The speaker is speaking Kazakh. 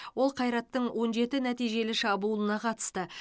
ол қайраттың он жеті нәтижелі шабуылына қатысты